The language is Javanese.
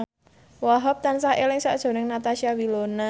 Wahhab tansah eling sakjroning Natasha Wilona